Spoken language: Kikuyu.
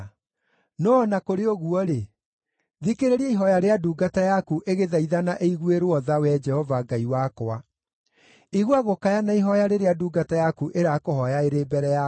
No o na kũrĩ ũguo-rĩ, thikĩrĩria ihooya rĩa ndungata yaku, ĩgĩthaithana ĩiguĩrwo tha, Wee Jehova Ngai wakwa. Igua gũkaya na ihooya rĩrĩa ndungata yaku ĩrakũhooya ĩrĩ mbere yaku.